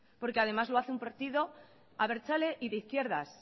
porque además lo hace un partido abertzale y de izquierdas